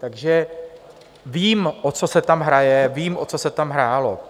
Takže vím, o co se tam hraje, vím, o co se tam hrálo.